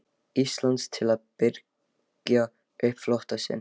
Íslands til að birgja upp flota sinn.